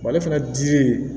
ale fana dili